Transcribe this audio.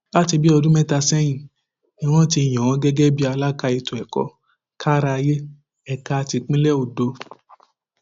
láti bíi ọdún mẹta sẹyìn ni wọn ti yàn án gẹgẹ bíi alága ètò ẹkọ kárááyé ẹka tipińlẹ ondo